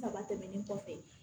Daba tɛmɛnen kɔfɛ